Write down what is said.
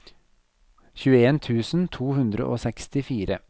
tjueen tusen to hundre og sekstifire